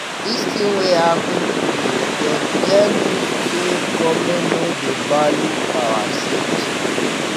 Dis tin wey happen today don tell me sey government no dey value our safety.